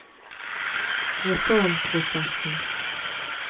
reformprosessen